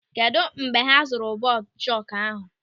Kedụ mgbe ha zụrụ bọọdụ chọkụ ahụ?